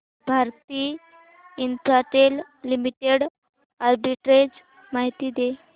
Bharti Infratel limited arbitrage माहिती दे